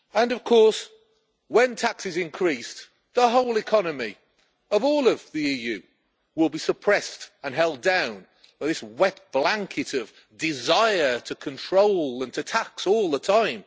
Of course, when tax is increased, the whole economy of all of the EU will be suppressed and held down by this wet blanket of desire to control and to tax all the time.